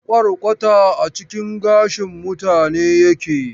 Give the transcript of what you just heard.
Kwarkwata a cikin gashin mutane yake.